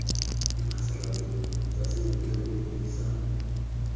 diphasalatso tsa se eleketeroniki sa